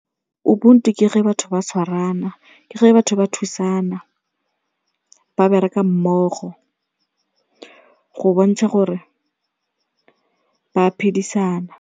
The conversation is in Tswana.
Ubuntu ke ge batho ba tshwarana, ke ge batho ba thusana, ba bereka mmogo go bontsha gore ba phedisana.